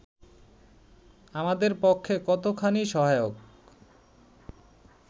আমাদের পক্ষে কতোখানি সহায়ক